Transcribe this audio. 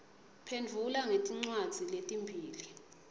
phendvula ngetincwadzi letimbili